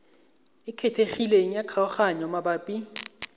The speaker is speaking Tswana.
e kgethegileng ya kgaoganyo mabapi